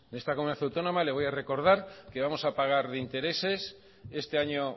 esta comunidad autónoma le voy a recordar que vamos a pagar de intereses este año